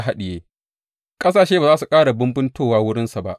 Ƙasashe ba za su ƙara bumbuntowa wurinsa ba.